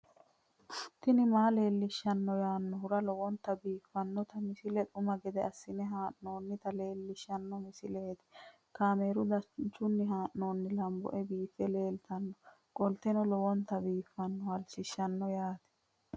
tini maa leelishshanno yaannohura lowonta biiffanota misile xuma gede assine haa'noonnita leellishshanno misileeti kaameru danchunni haa'noonni lamboe biiffe leeeltannoqolten lowonta baxissannoe halchishshanno yaate